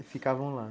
E ficavam lá.